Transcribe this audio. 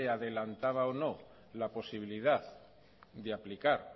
adelantaba o no la posibilidad de aplicar